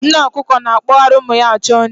Nne ọkụkọ na-akpọgharị ụmụ ya achọ nri.